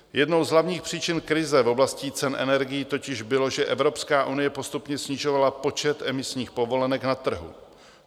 Jednou z hlavních příčin krize v oblasti cen energií totiž bylo, že Evropská unie postupně snižovala počet emisních povolenek na trhu.